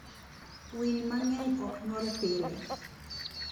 Winy mang'eny ok nyuol pile.